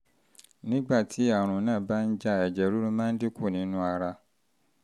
nígbà tí àrùn náà bá ń jà ẹ̀jẹ̀ ríru máa ń dín kù nínú ara